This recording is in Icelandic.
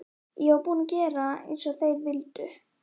Ég var búin að gera eins og þeir vildu.